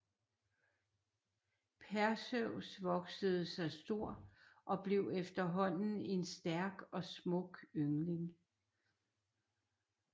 Perseus voksede sig stor og blev efterhånden en stærk og smuk yngling